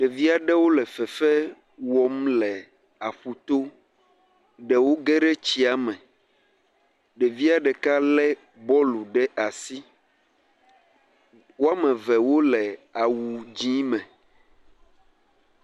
Ɖevia ɖewo le fefe wɔm le aƒuto, ɖewo geɖe tsiame, ɖevie ɖeka lé bɔlu ɖe asi, woame eve wole awu dzié me.